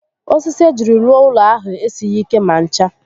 Osisi ejiri rụọụlọ ahụ esighi ike ma ncha